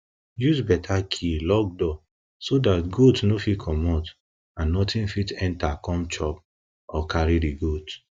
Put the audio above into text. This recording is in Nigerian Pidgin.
use better key lock door so dat goat no fit commot and nothing fit enter come chop or carry di goat